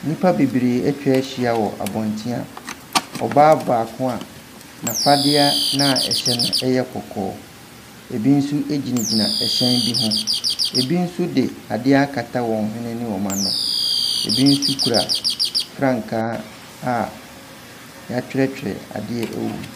Nnipa bebree atwa ahyia wɔ abɔntene a ɔbaa baako a n'afadeɛ no a ɛhyɛ no yɛ kɔkɔɔ. Ɛbi nso gyinagyina ɛhyɛn bi ho. Ɛbi nso de adeɛ akata wɔn hwene ne wɔn ano. Ɛbi nso kura frankaa a wɔatwerɛtwerɛ adeɛ wɔ mu.